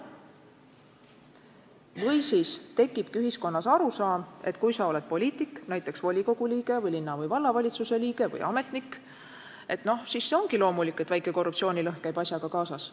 Või siis tekib ühiskonnas arusaam, et kui sa oled poliitik, näiteks volikogu liige või linna- või vallavalitsuse liige või ametnik, siis see ongi loomulik, et väike korruptsioonilõhn käib asjaga kaasas.